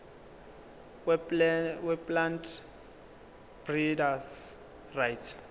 weplant breeders rights